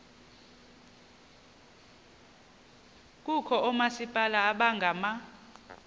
kukho oomasipala abangama